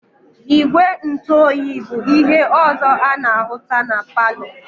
Igwe ntu oyi bu ihe ọzọ ana-ahụta na palọ.